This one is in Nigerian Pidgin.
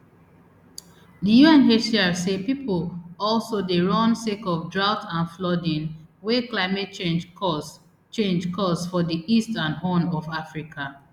di unhcr say pipo also dey run sake of droughts and flooding wey climate change cause change cause for di east and horn of africa